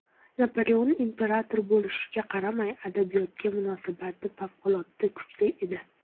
Napoleon imperator bo‘lishiga qaramay, adabiyotga munosabati favqulodda kuchli edi.